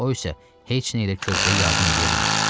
O isə heç nə ilə körpəyə yardım edə bilmir.